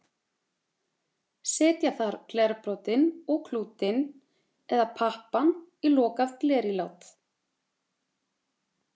Setja þarf glerbrotin og klútinn, eða pappann, í lokað glerílát.